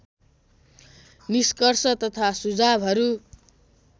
निष्कर्ष तथा सुझावहरू